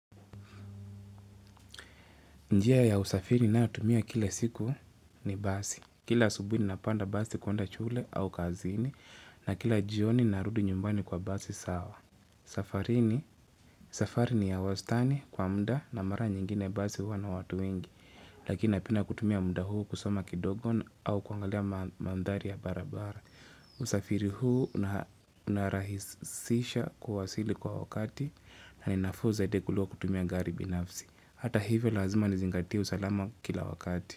Njia ya usafiri ninayoitumia kila siku ni basi. Kila asubuhi napanda basi kuenda shule au kazini na kila jioni narudi nyumbani kwa basi sawa. Safari ni ya wastani kwa mda na mara nyingine basi huwa na watu wengi. Lakini napenda kutumia mda huu kusoma kidogon au kuangalia mandhari ya barabara. Usafiri huu unarahisisha kuwasili kwa wakati na ni nafuu zaidi kuliko kutumia garibi nafsi. Ata hivyo lazima nizingatie usalama kila wakati.